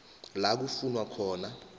la kufunwa khona